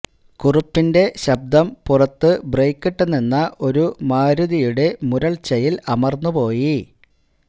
കുറുപ്പിന്റെ ശബ്ദം പുറത്തു ബ്രേക്കിട്ടു നിന്ന ഒരു മാരുതിയുടെ മുരൾച്ചയിൽ അമർന്നു പോയി